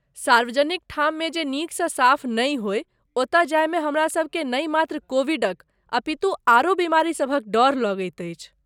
सार्वजनिक ठाममे जे नीकसँ साफ नहि होय ओतऽ जायमे हमरासभकेँ नहि मात्र कोविडक अपितु आरो बीमारीसभक डर लगैत अछि।